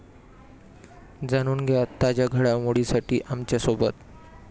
जाणून घ्या ताज्या घडामोडींसाठी आमच्यासोबत.